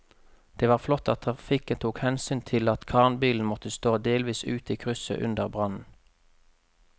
Det var flott at trafikken tok hensyn til at kranbilen måtte stå delvis ute i krysset under brannen.